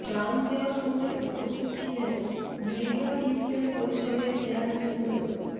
ত্রাণ দেওয়ার সময় উপস্থিত ছিলেন মৃগা ইউনিয়ন পরিষদের চেয়ারম্যান মো